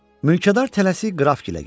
Mülkədar tələsik qrafik ilə gedir.